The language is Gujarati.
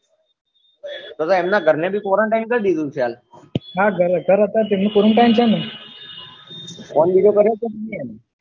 તો તો એમના ઘર ને નહી quarantine કરી ધીદુ હશે હાલ તરતજ quarantine ફોન બીજો કર્યો કે ની